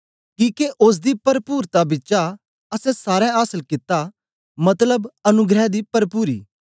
किके ओसदी परपुर्ता बिचा असैं सारें आसल कित्ता मतलब अनुग्रह दी परपुरी